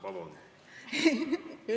Vabandust!